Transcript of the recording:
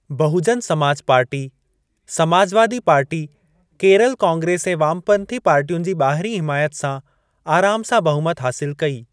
बहुजन Samaj party Samajwadi party, Kerala Congress ऐं वामपंथी पार्टियुनि जी ॿाहिरीं हिमायत सां आराम सां बहुमत हासिल कई।